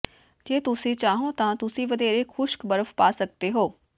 ਜੇ ਤੁਸੀਂ ਚਾਹੋ ਤਾਂ ਤੁਸੀਂ ਵਧੇਰੇ ਖੁਸ਼ਕ ਬਰਫ਼ ਪਾ ਸਕਦੇ ਹੋ